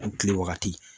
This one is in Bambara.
An kilen wagati